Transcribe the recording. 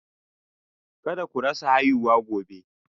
Kada ku rasa haihuwa gobe